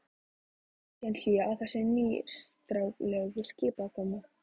Varð síðan hlé á þessum nýstárlegu skipakomum.